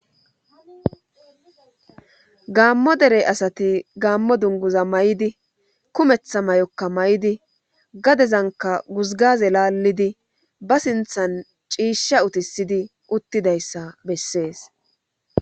Gamo derey asati gaammo dunguza may7idi kumeththa may7okka may7idi gadezanka guzgaze laallidi ba sinthan ciishsha utisidi uttidayssa bessees